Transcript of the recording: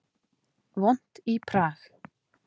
Vont í Prag